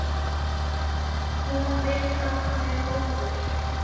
Hún veit að hann er góður.